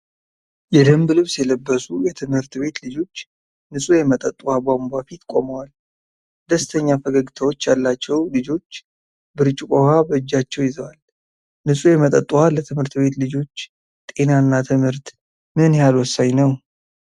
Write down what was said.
የደንብ ልብስ የለበሱ የትምህርት ቤት ልጆች ንጹህ የመጠጥ ውሃ ቧንቧ ፊት ቆመዋል። ደስተኛ ፈገግታዎች ያላቸው ልጆች ብርጭቆ ውሃ በእጃቸው ይዘዋል። ንጹህ የመጠጥ ውሃ ለትምህርት ቤት ልጆች ጤና እና ትምህርት ምን ያህል ወሳኝ ነው?